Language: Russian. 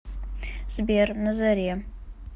сбер на заре